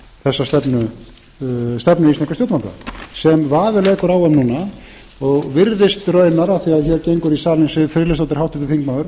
stjórnvalda sem vafi leikur á um núna og virðist raunar af því hér gengur í salinn siv friðleifsdóttir háttvirtur þingmaður